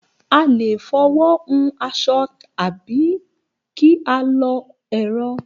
A lè fi ọwọ́ hun aṣọ tàbí ká a lọ ẹ̀rọ